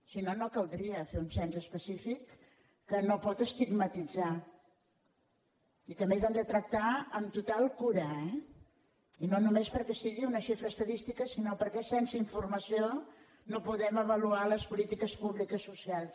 si no no caldria fer un cens específic que no pot estigmatitzar i que a més hem de tractar amb total cura eh i no només perquè sigui una xifra estadística sinó perquè sense informació no podem avaluar les polítiques públiques socials